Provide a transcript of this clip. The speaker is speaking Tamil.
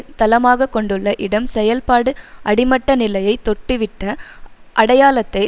தளமாக கொண்டுள்ள இடம் செயல்பாடு அடிமட்ட நிலையை தொட்டுவிட்ட அடையாளத்தை